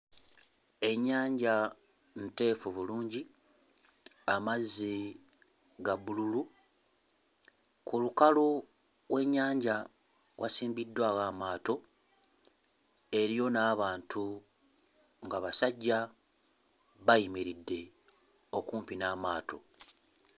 Ennyanja nteefu bulungi, amazzi ga bbululu. Ku lukalu w'ennyanja wasimbiddwawo amaato, eriyo n'abantu nga basajja bayimiridde okumpi n'amaato.